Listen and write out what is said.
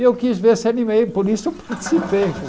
E eu quis ver a, por isso eu participei.